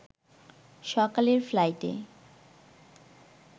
সকালের ফ্লাইটে